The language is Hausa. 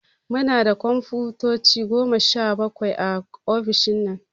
Munda kumfuta Goma sha bakwai a ofishin nan